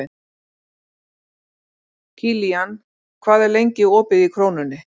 Kilían, hvað er lengi opið í Krónunni?